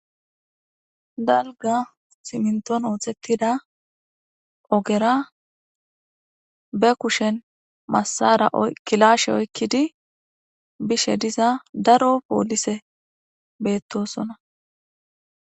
dalga siminton oothettida ogera be kushen masara kilashe oykkidi bishe diza daro poolise beettosona